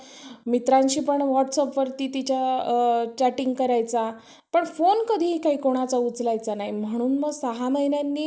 मित्रांशी पण Whats App वरती तिच्या अ chatting करायचा पण phone कधीही काही कुणाचा उचलायचा नाही म्हणून मग सहा महिन्यांनी